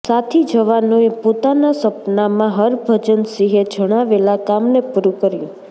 સાથી જવાનોએ પોતાના સપનામાં હરભજનસિંહે જણાવેલા કામને પૂરું કર્યું